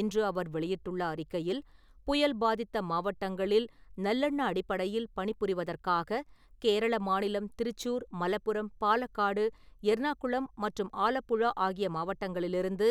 இன்று அவர் வெளியிட்டுள்ள அறிக்கையில், புயல் பாதித்த மாவட்டங்களில் நல்லெண்ண அடிப்படையில் பணி புரிவதற்காக கேரள மாநிலம் திருச்சூர், மலப்புரம், பாலக்காடு, எர்ணாகுளம், மற்றும் ஆலப்புழா ஆகிய மாவட்டங்களிலிருந்து